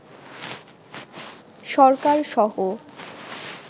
সরকারসহ